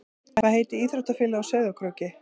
Hvað heitir íþróttafélagið á Sauðárkróki?